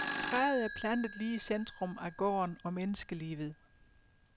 Træet er plantet lige i centrum af gården og menneskelivet.